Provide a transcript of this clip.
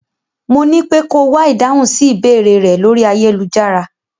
Mo nípé ko wá ìdáhùn sí ìbéèrẹ̀ rẹ̀ ló ayélujára.